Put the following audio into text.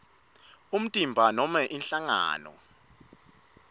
umtimba nobe inhlangano